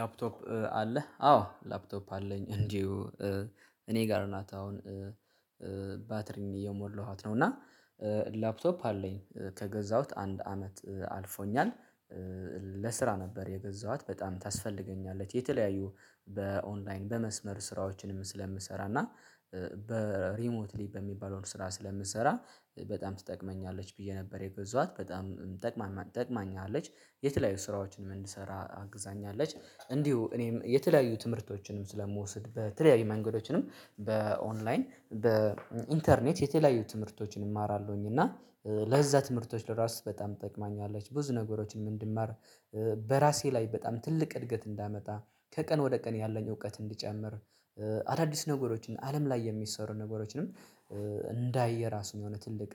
ላፕቶፕ አለህ? አዎ ላፕቶፕ አለኝ እንዲሁ እኔ ጋር ናት አሁን ባትሪም እየሞለኋት ነው እና ላፕቶፕ አለኝ ከገዛሁት አንድ አመት አልፎኛል ለስራ ነበር የገዛኋት በጣም ታስፈልገኛለች የተለያዩ በኦንላይን በመስመር ስራዎችንም ስለምሰራ እና በሪሞትሊ በሚባለው ስራ ስለምሰራ በጣም ትጠቅመኛለች ብዬ ነበር የገዛኋት በጣም ጠቅማኛለች ጠቅማኛለች የተለያዩ ስራዎችን እንድሰራ አግዛኛለች እንዲሁ እኔም የተለያዩ ትምህርቶችንም ስለምወስድ በተለያዩ መንገዶችንም በኦንላይን በኢንተርኔት የተለያዩ ትምህርቶችን እማራለሁኝ እና ለዛ ትምህርቶች ለራሱ በጣም ጠቅማኛለች ብዙ ነገሮችን ምን እንድማር በራሴ ላይ በጣም ትልቅ እድገት እንዳመጣ ከቀን ወደ ቀን ያለኝ እውቀት እንዲጨምር አዳዲስ ነገሮችን አለም ላይ የሚሰሩ ነገሮችንም እንዳይ የራሱ የሆነ ትልቅ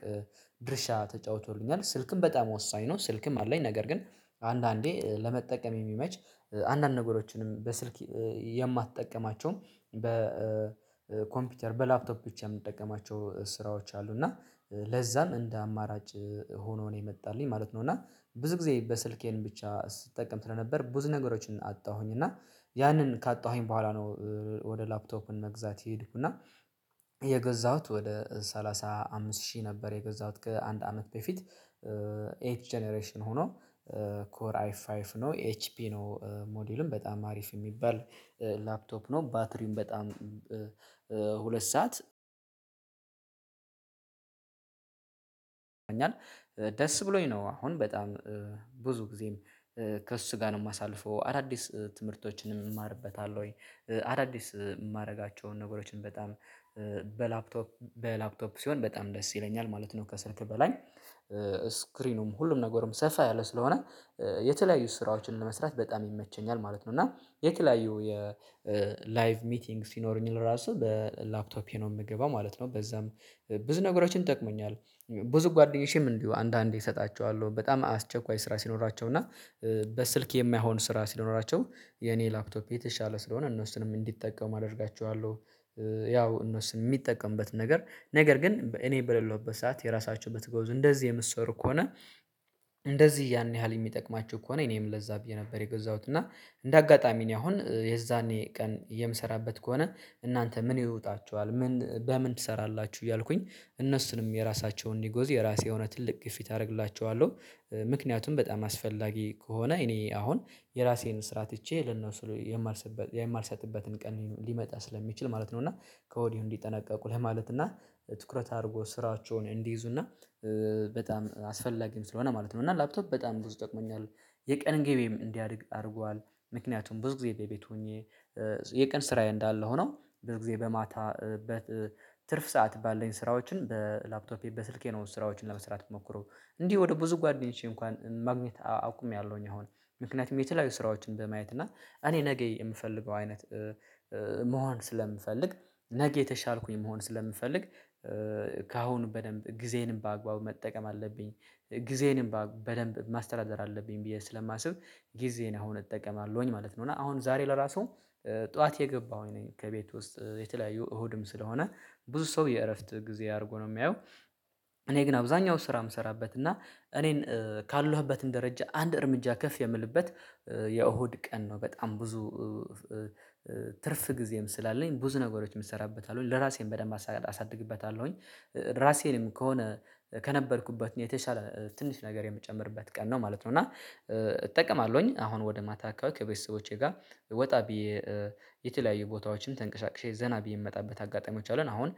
ድርሻ ተጫውቶልኛል ስልክም በጣም ወሳኝ ነው ስልክም አለኝ ነገር ግን አንዳንዴ ለመጠቀም የሚመች አንዳንድ ነገሮችንም በስልክ የማትጠቀማቸው በኮምፒውተር በላፕቶፕ ውስጥ የምትጠቀማቸው ስራዎች አሉ እና ለዛም እንደ አማራጭ ሆኖ ነው የመጣልኝ ማለት ነው እና ብዙ ጊዜ በስልኬ ብቻ ስጠቀም ስለነበር ብዙ ነገሮችን አጣሁኝ እና ያንን ካጣሁኝ በኋላ ነው ወደ ላፕቶፕን መግዛት ይሄድኩና የገዛሁት ወደ ሰላሳ አምስት ሺህ ነበር የገዛሁት ከአንድ አመት በፊት ኤፍ ጀነሬሽን ሆኖ ኮር አይ ፋይቭ ነው ኤች ፒ ነው ሞዴሉም በጣም አሪፍ የሚባል ላፕቶፕ ነው ባትሪም በጣም ሁለት ሰዓት ደስ ብሎኝ ነው አሁን በጣም ብዙ ጊዜም ከእሱ ጋር ነው የማሳልፈው አዳዲስ ትምህርቶችንም እማርበታለሁኝ ወይ አዳዲስ የማደርጋቸውን ነገሮችን በጣም በላፕቶፕ በላፕቶፕ ሲሆን በጣም ደስ ይለኛል ማለት ነው ከስልኬ በላይ ስክሪኑም ሁሉም ነገርም ሰፋ ያለ ስለሆነ የተለያዩ ስራዎችን ለመስራት በጣም ይመቸኛል ማለት ነው እና የተለያዩ የላይቭ ሚቲንግ ሲኖረኝ ራሱ በላፕቶፔ ነው የምገባው ማለት ነው በዛም ብዙ ነገሮችን ጠቅሞኛል ብዙ ጓደኞቼም እንዲሁ አንዳንዴ እሰጣቸዋለሁ በጣም አስቸኳይ ስራ ሲኖራቸው እና በስልክ የማይሆን ስራ ሲኖራቸው የኔ ላፕቶፕ የተሻለ ስለሆነ እነሱንም እንዲጠቀሙ አደርጋየዋለሁ፤ ያው እነሱ የሚጠቀምበት ነገር ነገር ግን እኔ በሌለሁበት ሰዓት የራሳችሁን ብትገዙ እንደዚህ የምትሰሩ ከሆነ እንደዚህ ያን ያህል የሚጠቅማችሁ ከሆነ እኔም ለዛ ብዬ ነበር የገዛሁት እና እንደ አጋጣሚ ነው አሁን የዛኔ ቀን የምሰራበት ከሆነ እናንተ ምን ይወጣችኋል ምን በምን ትሰራላችሁ እያልኩኝ እነሱንም የራሳቸውን አእንዲገዙ የራሴ የሆነ ትልቅ ግፊት አደርግላቸዋለሁ፤ ምክንያቱም በጣም አስፈላጊ ከሆነ እኔ አሁን የራሴን ስራ ትቼ ለነሱ የማልሰጥበት የማልሰጥበትን ቀን ሊመጣ ስለሚችል ማለት ነው እና ከወዲሁ እንዲጠነቀቁ ለማለት እና ትኩረት አድርጎ ስራቸውን እንዲይዙና በጣም አስፈላጊም ስለሆነ ማለት ነው እና ላፕቶፕ በጣም ብዙ ይጠቅመኛል የቀን ገቢም እንዲያድግ አድርጓል ምክንያቱም ብዙ ጊዜ በቤት ሆኜ የቀን ስራዬ እንዳለ ሆኖ ብዙ ጊዜ በማታ በትርፍ ሰዓት ባለኝ ስራዎችን በላፕቶፔ በስልኬ ነው ስራዎችን ለመስራት የምሞክረው እንዲህ ወደ ብዙ ጓደኞቼ እንኳን ማግኘት አውቅሜያለሁኝ አሁን ምክንያቱም የተለያዩ ስራዎችን በማየት እና እኔ ነገ የምፈልገው አይነት መሆን ስለምፈልግ ነገ የተሻልኩኝ መሆን ስለምፈልግ ከአሁን በደንብ ጊዜንም በአግባቡ መጠቀም አለብኝ ጊዜንም በደንብ ማስተዳደር አለብኝ ብዬ ስለማስብ ጊዜን አሁን እጠቀማለሁኝ ማለት ነው እና አሁን ዛሬ ለራሱ ጠዋት የገባው ነኝ ከቤት ውስጥ የተለያዩ እሁድም ስለሆነ ብዙ ሰው የእረፍት ጊዜ አድርጎ ነው የሚያየው እኔ ግን አብዛኛው ስራ የምሰራበት እና እኔን ካለሁበት ደረጀ አንድ እርምጃ ከፍ የምልበት የእሁድ ቀን ነው በጣም ብዙ ትርፍ ጊዜም ስላለኝ ብዙ ነገሮች ነገሮችን እሰራበታለሁኝ ለራሴን በደንብ አሳድግበታለሁኝ ራሴንም ከሆነ ከነበርኩበት የተሻለ ትንሽ ነገር የምጨምርበት ቀን ነው ማለት ነው እና እጠቀማለሁኝ አሁን ወደ ማታ አካባቢ ከቤተሰቦቼ ጋር ወጣ ብዬ የተለያዩ ቦታዎችም ተንቀሳቅሼ ዘና ብዬ የምመጣበት አጋጣሚዎች አሉን አሁን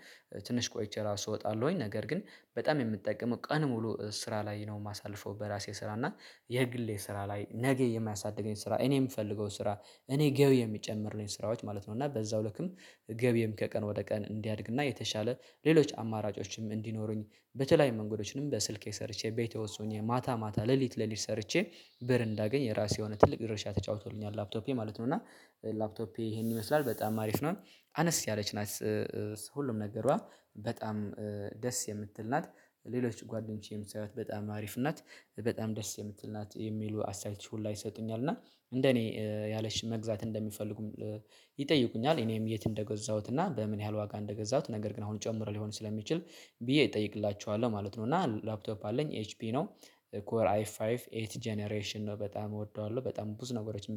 ትንሽ ቆይቼ ራሱ እወጣለሁኝ ነገር ግን በጣም የምጠቀመው ቀን ሙሉ ስራ ላይ ነው የማሳልፈው በራሴ ስራ እና የግሌ ስራ ላይ ነገ የማያሳድገኝ ስራ እኔ የምፈልገው ስራ እኔ ገቢ የሚጨምርልኝ ስራዎች ማለት ነው እና በዛው ልክም ገቢም ከቀን ወደ ቀን እንዲያድግና የተሻለ ሌሎች አማራጮችም እንዲኖሩኝ በተለይ መንገዶችንም በስልኬ ሰርቼ ቤቴ ውስጥ ሆኘ ማታ ማታ ሌሊት ሌሊት ሰርቼ ብር እንዳገኝ የራሴ የሆነ ትልቅ ድርሻ ተጫውቶልኛል ላፕቶፔ ማለት ነው እና ላፕቶፔ ይሄን ይመስላል በጣም አሪፍ ነው አነስ ያለች ናት፤ ሁሉም ነገሯ በጣም ደስ የምትል ናት፣ ሌሎች ጓደኞቼም ሳያዩት በጣም አሪፍ ናት በጣም ደስ የምትል ናት የሚሉ አስተያየቶች ሁላ ይሰጡኛል እና እንደኔ ያለች መግዛት እንደሚፈልጉም ይጠይቁኛል እኔም የት እንደገዛሁት እና በምን ያህል ዋጋ እንደገዛሁት ነገር ግን አሁን ጨምሮ ሊሆን ስለሚችል ብዬ እጠይቅላቸዋለሁ ማለት ነው እና ላፕቶፕ አለኝ ኤች ፒ ነው ኮር አይ ፋይቭ ኤት ጀነሬሽን ነው በጣም እወደዋለሁ በጣም ብዙ ነገሮችን